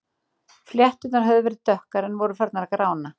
Flétturnar höfðu verið dökkar en voru farnar að grána.